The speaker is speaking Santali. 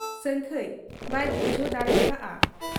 ᱥᱟᱹᱝᱠᱷᱟᱹᱭ ᱵᱟᱭ ᱵᱩᱡᱷᱟᱹᱣ ᱫᱟᱲᱮᱭᱟᱠᱟ ᱦᱟᱫ ᱟ ᱾